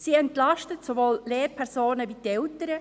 Sie entlastet sowohl die Lehrpersonen als auch die Eltern.